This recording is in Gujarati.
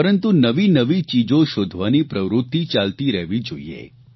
પરંતુ નવીનવી ચીજો શોધવાની પ્રવૃત્તિ ચાલતી રહેવી જોઇએ